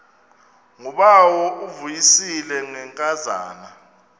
ngubawo uvuyisile ngenkazana